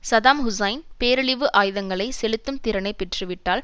Saddam Hussein பேரழிவு ஆயுதங்களை செலுத்தும் திறனை பெற்றுவிட்டால்